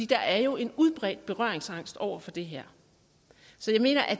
der er jo en udbredt berøringsangst over for det her så jeg mener at